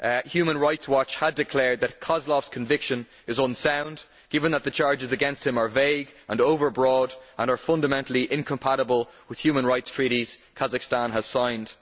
Human Rights Watch had declared that Kozlov's conviction is unsound given that the charges against him are vague and overbroad and are fundamentally incompatible with human rights treaties Kazakhstan has signed.